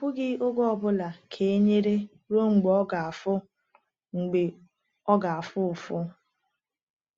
“I kwughị oge ọ bụla ka e nyere ruo mgbe ọ ga-afụ mgbe ọ ga-afụ ụfụ.”